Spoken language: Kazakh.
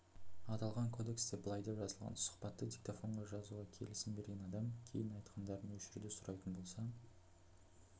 аталған кодексте былай деп жазылған сұхбатты диктофонға жазуға келісім берген адам кейін айтқандарын өшіруді сұрайтын болса